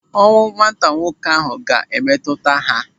Ọnwụ nwata nwoke ahụ ga-emetụta ya.